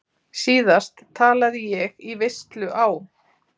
Síðast talaði ég í veislu á